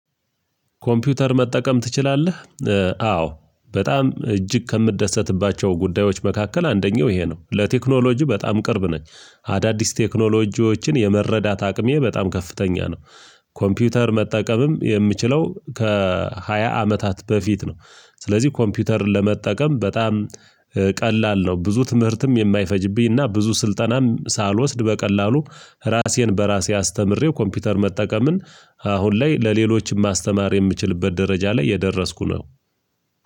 ኮምፒውተር መጠቀም ትችላለህ? አዎ በጣም እጅግ ከምደሰትባቸው ጉዳዮች መካከል አንደኛው ይሄ ነው። ለቴክኖሎጂ በጣም ቅርብ ነኝ አዳዲስ ቴክኖሎጂዎችን የመረዳት አቅሜ በጣም ከፍተኛ ነው። ኮምፒውተር መጠቀምም የምችለው ከሃያ አመታት በፊት ነው። ስለዚህ ኮምፒውተርን ለመጠቀም በጣም ቀላል ነው። ብዙ ትምህርትም የማይፈጅብኝና ብዙ ስልጠናም ሳልወስድ በቀላሉ ራሴን በራሴ አስተምሬው ኮምፒውተር መጠቀምን አሁን ላይ ለሌሎችም ማስተማር የምችልበት ደረጃ ላይ የደረስኩ ነው።